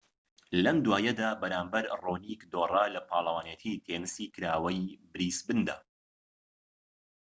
لەم دواییەدا بەرامبەر ڕۆنیك دۆڕا لە پاڵەوانێتی تێنسی کراوەی بریسبندا